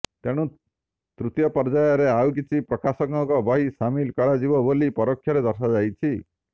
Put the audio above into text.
ତେଣୁ ତୃତୀୟ ପର୍ଯ୍ୟାୟରେ ଆଉ କିଛି ପ୍ରକାଶକଙ୍କ ବହି ସାମିଲ୍ କରାଯିବ ବୋଲି ପରୋକ୍ଷରେ ଦର୍ଶାଯାଇଛି